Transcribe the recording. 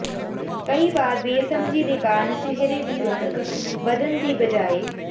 ਕਈ ਵਾਰ ਬੇਸਮਝੀ ਦੇ ਕਾਰਨ ਚਿਹਰੇ ਦੀ ਰੌਣਕ ਵਧਣ ਦੀ ਬਜਾਏ